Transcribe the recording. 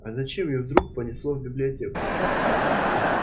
а зачем её вдруг понесло в библиотеку